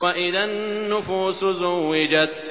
وَإِذَا النُّفُوسُ زُوِّجَتْ